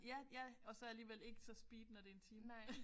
Ja ja og så alligevel ikke så speed når det er en time